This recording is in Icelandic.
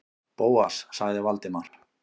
Bóas- sagði Valdimar.